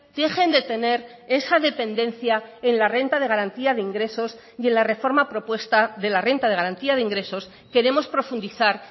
dejen de tener esa dependencia en la renta de garantía de ingresos y en la reforma propuesta de la renta de garantía de ingresos queremos profundizar